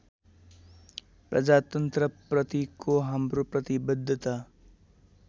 प्रजातन्त्रप्रतिको हाम्रो प्रतिवद्धता